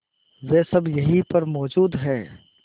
वे सब यहीं पर मौजूद है